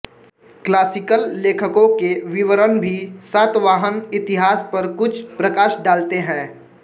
classical लेखकों के विवरण भी सातवाहन इतिहास पर कुछ प्रकाश डालते हैं